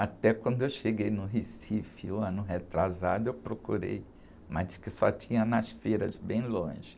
Até quando eu cheguei no Recife, ano retrasado, eu procurei, mas diz que só tinha nas feiras, bem longe.